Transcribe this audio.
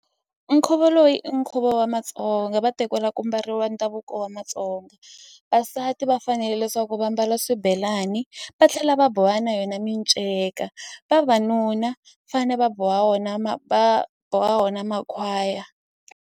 Nkhuvo loyi i nkhuvo wa Matsonga va te ku la ku mbariwa ndhavuko wa Matsonga vasati va fanele leswaku va mbala swibelani va tlhela va boha na yona minceka vavanuna fane va boha wona boha wona makhwaya.